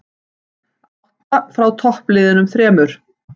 Átta frá toppliðunum þremur